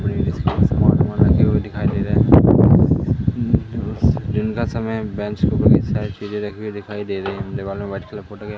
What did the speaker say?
आसमान की और दिखाई दे रहा है दिन का समय है बेंच को साइड में रखे हुए दिखाई दे रहा है दीवारों पर व्हाइट कलर का--